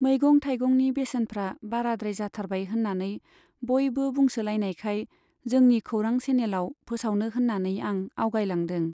मैगं थाइगंनि बेसेनफ्रा बाराद्राय जाथारबाय होन्नानै बयबो बुंसोलायनायखाय जोंनि खौरां चेनेलआव फोसावनो होन्नानै आं आगयलांदों।